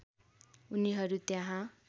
उनिहरू त्यहाँ